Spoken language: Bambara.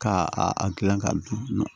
Ka a a gilan ka dun